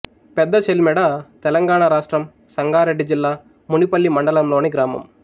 పెద్దచెల్మెడ తెలంగాణ రాష్ట్రం సంగారెడ్డి జిల్లా మునిపల్లి మండలంలోని గ్రామం